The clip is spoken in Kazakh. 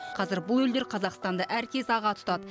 қазір бұл елдер қазақстанды әркез аға тұтады